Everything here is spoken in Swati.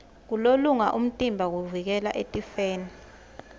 kulolonga umtimba kuvikela etifeni